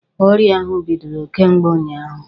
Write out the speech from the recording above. Ọrịa ahụ bidoro kemgbe ụnyaahụ.